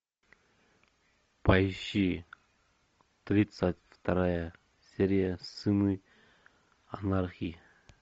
поищи тридцать вторая серия сыны анархии